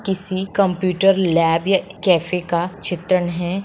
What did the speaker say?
किसी computer lab या cafe का चित्रण हैं।